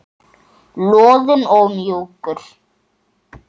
Loðinn og mjúkur.